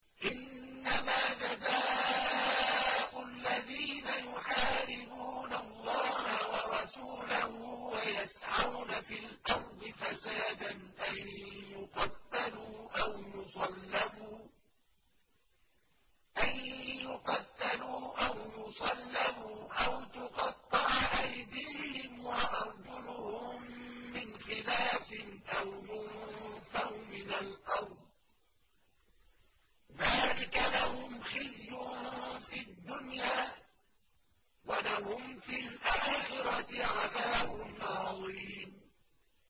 إِنَّمَا جَزَاءُ الَّذِينَ يُحَارِبُونَ اللَّهَ وَرَسُولَهُ وَيَسْعَوْنَ فِي الْأَرْضِ فَسَادًا أَن يُقَتَّلُوا أَوْ يُصَلَّبُوا أَوْ تُقَطَّعَ أَيْدِيهِمْ وَأَرْجُلُهُم مِّنْ خِلَافٍ أَوْ يُنفَوْا مِنَ الْأَرْضِ ۚ ذَٰلِكَ لَهُمْ خِزْيٌ فِي الدُّنْيَا ۖ وَلَهُمْ فِي الْآخِرَةِ عَذَابٌ عَظِيمٌ